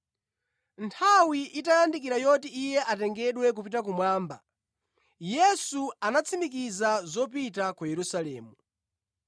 Nthawi itayandikira yoti Iye atengedwe kupita kumwamba, Yesu anatsimikiza zopita ku Yerusalemu,